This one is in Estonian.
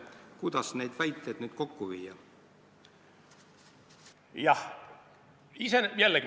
Kuidas neid väiteid nüüd kokku viia?